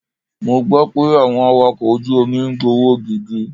Mo gbọ́ pé àwọn Awakọ̀ ojú omi ń gbowó gidi.